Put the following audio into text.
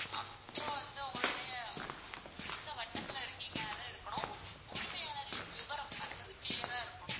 அப்பறம் வந்து உங்களுடைய நீங்க எந்த வட்டத்துல இருக்கீங்க அது இருக்கணும், உரிமையாளரின் விபரம் அது வந்து clear ஆ இருக்கனும்.